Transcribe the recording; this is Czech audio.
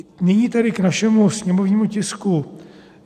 Nyní tedy k našemu sněmovnímu tisku.